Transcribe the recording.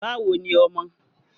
Báwo ni ọmọ?